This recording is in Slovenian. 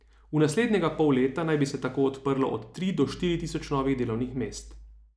V naslednjega pol leta naj bi se tako odprlo od tri do štiri tisoč novih delovnih mest.